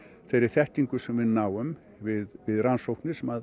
þeirri þekkingu sem við náum við við rannsóknir sem